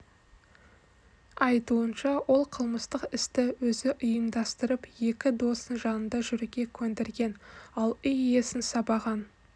айтуынша ол қылмыстық істі өзі ұйымдастырып екі досын жанында жүруге көндірген ал үй иесін сабаған